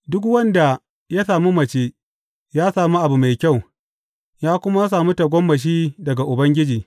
Duk wanda ya sami mace ya sami abu mai kyau ya kuma sami tagomashi daga Ubangiji.